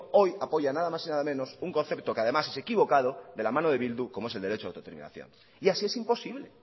hoy apoya nada más y nada menos un concepto que además es equivocado de la mano de bildu como es el derecho de autodeterminación y así es imposible